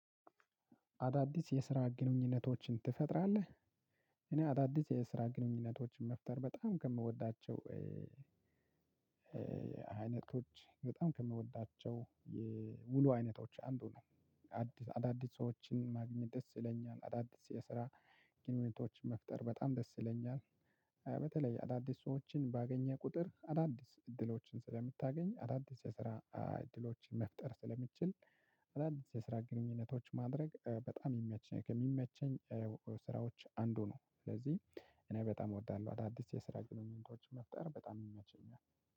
አዳዲስ የስራ ግንኙነቶችን ትፈጥራለህ? እኔ አዳዲስ የስራ ግንኙነቶችን መፍጠር በጣም ከምወዳቸው አይነቶች በጣም ከምወዳቸው ውሎ አይነቶች አንዱ ነው። አዳዲስ ሰወችን ማግኘት ደስ ይለኛል። አዳዲስ የስራ ግንኙነቶችን መፍጠር በጣም ደስ ይለኛል። በተለይ አዳዲስ ሰዎችን ባገኘሁ ቁጥር አዳዲስ እድሎችን ስለምታገኝ አዳዲስ የስራ እድሎችን መፍጠር ስለምትችል አዳዲስ የስራ ግንኙነቶች ማድረግ በጣም የሚመቸኝ ከሚመቸኝ ስራዎች አንዱ ነው ስለዚህ እኔ በጣም እወዳለሁ አዳዲስ የስራ ግንኙነቶችን መፍጠር በጣም የሚመቸኝ ነው።